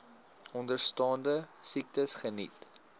onderstaande siektes geniet